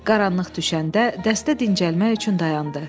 Qaranlıq düşəndə dəstə dincəlmək üçün dayandı.